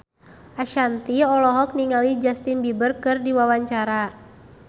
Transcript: Ashanti olohok ningali Justin Beiber keur diwawancara